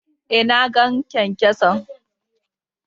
Eh, na gan kyan-kyason.